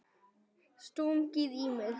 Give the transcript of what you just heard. Stungið í mig?